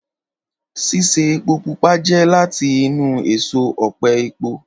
Ṣíṣe epo pupa jẹ́ láti inú èso ọ̀pẹ epo